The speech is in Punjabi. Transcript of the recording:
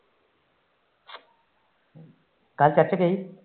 ਕੱਲ